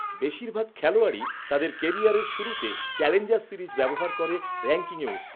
বেশিরভাগ খেলোয়াড়ই তাদের কেরিয়ারের শুরুতে চ্যালেঞ্জার সিরিজ ব্যবহার করে র‌্যাঙ্কিংয়ে উঠতে।